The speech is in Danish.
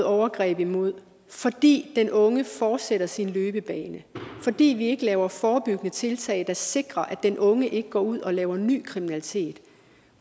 overgreb imod fordi den unge fortsætter sin løbebane og fordi vi ikke laver forebyggende tiltag der sikrer at den unge ikke går ud og laver ny kriminalitet